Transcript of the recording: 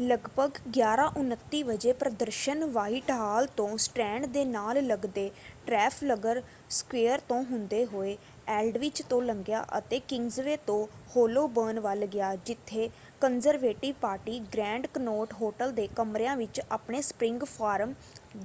ਲਗਭਗ 11:29 ਵਜੇ ਪ੍ਰਦਰਸ਼ਨ ਵ੍ਹਾਈਟਹਾਲ ਤੋਂ ਸਟ੍ਰੈਂਡ ਦੇ ਨਾਲ ਲੱਗਦੇ ਟ੍ਰੈਫਲਗਰ ਸਕੁਏਰ ਤੋਂ ਹੁੰਦੇ ਹੋਏ ਐਲਡਵਿਚ ਤੋਂ ਲੰਘਿਆ ਅਤੇ ਕਿੰਗਜ਼ਵੇ ਤੋਂ ਹੋਲੋਬਰਨ ਵੱਲ ਗਿਆ ਜਿੱਥੇ Conservative Party Grand Connaught Hotel ਦੇ ਕਮਰਿਆਂ ਵਿੱਚ ਆਪਣੇ ਸਪਰਿੰਗ ਫੋਰਮ